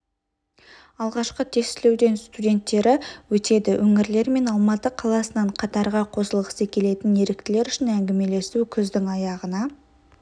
алғашқы тестілеуден студенттері өтеді өңірлер мен алматы қаласынан қатарға қосылғысы келетін еріктілер үшін әңгімелесу күздің аяғына